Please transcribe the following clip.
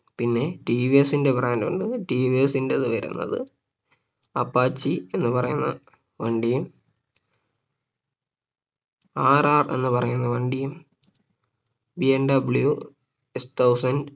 പിന്ന TVS ന്റെ brand ഉണ്ട TVS ന്റെ വരുന്നത് Apache എന്ന് പറയുന്ന വണ്ടി RR എന്ന് പറയുന്ന വണ്ടിയും BMWSThousand